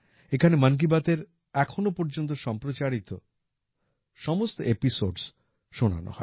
এখানে মন কী বাতের এখনওপর্যন্ত সম্প্রাচারিত সমস্ত এপিসোডস শোনানো হয়